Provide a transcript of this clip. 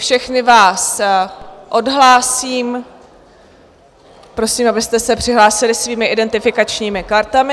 Všechny vás odhlásím, prosím, abyste se přihlásili svými identifikačními kartami.